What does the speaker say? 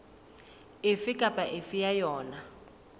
efe kapa efe ya yona